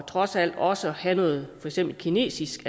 trods alt også at have noget kinesisk